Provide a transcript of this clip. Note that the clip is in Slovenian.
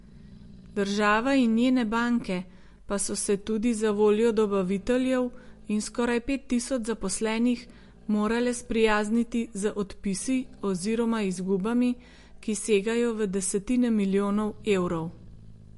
Država in njene banke pa so se tudi zavoljo dobaviteljev in skoraj pet tisoč zaposlenih morale sprijazniti z odpisi oziroma izgubami, ki segajo v desetine milijonov evrov.